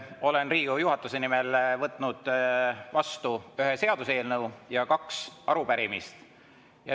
Olen Riigikogu juhatuse nimel võtnud vastu ühe seaduseelnõu ja kaks arupärimist.